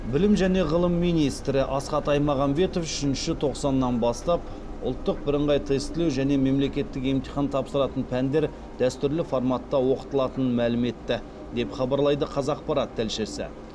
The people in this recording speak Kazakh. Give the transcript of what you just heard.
білім және ғылым министрі асхат аймағамбетов үшінші тоқсаннан бастап ұлттық бірыңғай тестілеу және мемлекеттік емтихан тапсыратын пәндер дәстүрлі форматта оқытылатынын мәлім етті деп хабарлайды қазақпарат тілшісі